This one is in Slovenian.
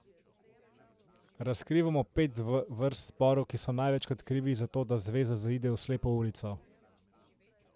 Razkrivamo pet vrst sporov, ki so največkrat krivi za to, da zveza zaide v slepo ulico.